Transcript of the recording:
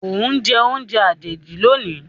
o njẹ oúnjẹ àjèjì lónì.